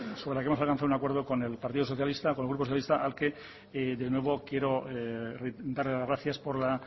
sobre la que hemos alcanzado un acuerdo con el grupo socialista al que de nuevo quiero dar las gracias por la